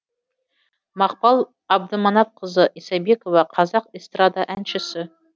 мақпал абдыманапқызы исабекова қазақ эстрада әншісі